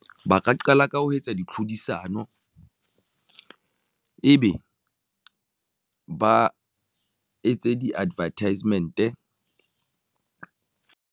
Ba ka qala ka ho etsa di tlhodisano ebe ba etse di-advertisement.